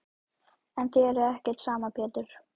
En þér er ekki sama Pétur.